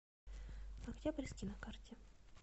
октябрьский на карте